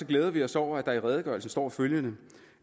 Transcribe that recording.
glæder vi os over at der i redegørelsen står følgende